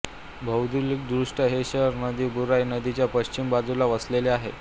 भौगोलिकदृष्ट्या हे शहर नदी बुराई नदीच्या पश्चिम बाजूला वसलेले आहे